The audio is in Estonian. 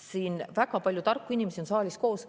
Siin on väga palju tarku inimesi saalis koos.